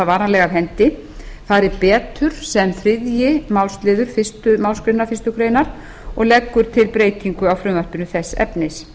varanlega af hendi fari betur sem þriðji málsl fyrstu málsgrein fyrstu grein og leggur til breytingu á frumvarpinu þess efnis